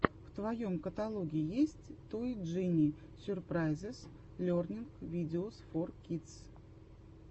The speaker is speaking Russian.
в твоем каталоге есть той джини сюрпрайзес лернинг видеос фор кидс